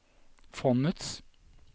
fondets